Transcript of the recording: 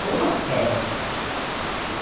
Foi uma festa.